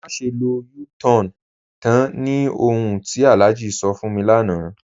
Màṣẹ lọ U-Tan ni ọ̀hun tí Alhaji sọ̀ fún mi lánà.